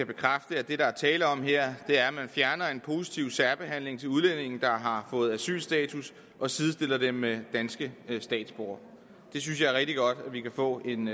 bekræfte at det der er tale om her er at man fjerner en positiv særbehandling til udlændinge der har fået asylstatus og sidestiller dem med danske statsborgere jeg synes det er rigtig godt at vi kan få en